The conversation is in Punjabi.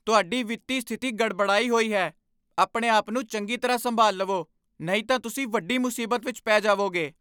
ਤੁਹਾਡੀ ਵਿੱਤੀ ਸਥਿਤੀ ਗੜਬੜਾਈ ਹੋਈ ਹੈ! ਆਪਣੇ ਆਪ ਨੂੰ ਚੰਗੀ ਤਰ੍ਹਾਂ ਸੰਭਾਲਵੋ ਨਹੀਂ ਤਾਂ ਤੁਸੀਂ ਵੱਡੀ ਮੁਸੀਬਤ ਵਿੱਚ ਪੈ ਜਾਵੋਗੇ